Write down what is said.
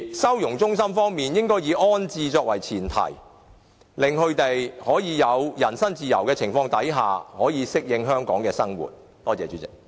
收容中心方面應該以安置作為前設，令他們可以在有人身自由的情況之下，適應香港的生活。